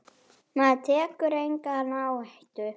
Maður tekur enga áhættu!